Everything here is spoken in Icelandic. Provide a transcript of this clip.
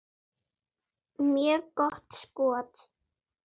Mjög gott skot.